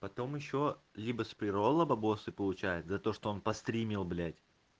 потом ещё либо с преролла бабосы получает за то что он постримил блять